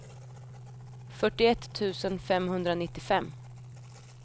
fyrtioett tusen femhundranittiofem